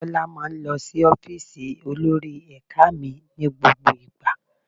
Tọ́lá máa ń lọ sí ọ́fíìsì olórí ẹ̀ka mi ní gbogbo ìgbà.